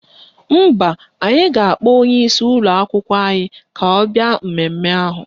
Mba, anyị ga-akpọ onyeisi ụlọakwụkwọ anyị ka ọ bịa mmemme ahụ.